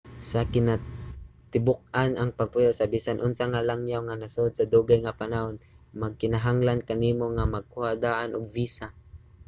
sa kinatibuk-an ang pagpuyo sa bisan unsa nga langyaw nga nasod sa dugay nga panahon magkinahanglan kanimo nga magkuha daan og visa